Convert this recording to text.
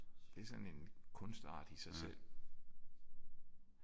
Det er sådan en kunstart i sig selv